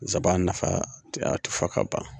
zaba nafa a ti fɔ ka ban.